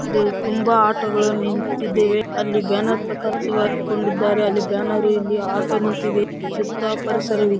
ಇದು ತುಂಬಾ ಆಟೋಗಳು ನಿಂತಿದ್ದಾವೆ ಅಲ್ಲಿ ಬ್ಯಾನರ್‌ ಕೂಡ ಸಿಗಾಕೊಂಡಿದ್ದರೆ ಅಲ್ಲಿ ಬ್ಯಾನರ್‌ ಇಲ್ಲಿ ಆಟೋ ನಿಂತಿದೆ ಸುತ್ತಾ ಪರಿಸರವಿದೆ.